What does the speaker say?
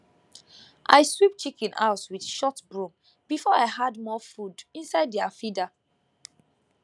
i sweep chicken house with short broom before i add more food inside their feeder